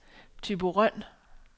Thyborøn